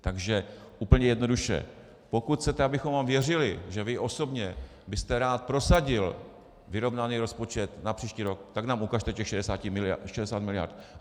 Takže úplně jednoduše, pokud chcete, abychom vám věřili, že vy osobně byste rád prosadil vyrovnaný rozpočet na příští rok, tak nám ukažte těch 60 miliard.